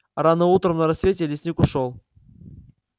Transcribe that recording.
рано утром на рассвете лесник ушёл